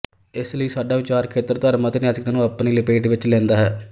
ਇਸ ਲਈ ਸਾਡਾ ਵਿਚਾਰ ਖੇਤਰ ਧਰਮ ਅਤੇ ਨੈਤਿਕਤਾ ਨੂੰ ਆਪਣੀ ਲਪੇਟ ਵਿਚ ਲਿਂਦਾ ਹੈ